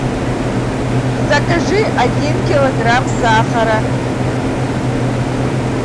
закажи один килограмм сахара